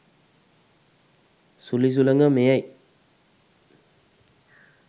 සුළි සුළඟ මෙයයි.